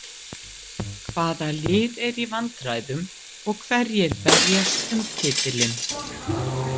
Hvaða lið eru í vandræðum og hverjir berjast um titilinn?